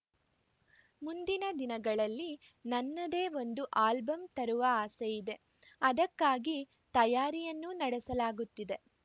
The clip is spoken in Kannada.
ಮುಂದಿನ ದಿನಗಳಲ್ಲಿ ನನ್ನದೇ ಒಂದು ಆಲ್ಬಮ್‌ ತರುವ ಆಸೆ ಇದೆ ಅದಕ್ಕಾಗಿ ತಯಾರಿಯನ್ನೂ ನಡೆಸಲಾಗುತ್ತಿದೆ